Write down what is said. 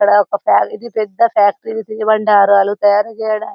ఇక్కడ ఒక పెద్ద పెద్ద ఫ్యాక్టరీ తినుబండారాలు తయారుచేయడానికి